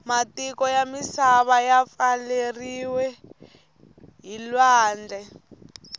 matiko yamisana yapfaleriwe hhilwandle